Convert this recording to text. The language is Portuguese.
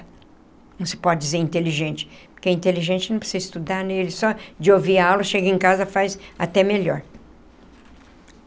Não se pode dizer inteligente, porque inteligente não precisa estudar né ele só de ouvir aula, chega em casa faz até melhor.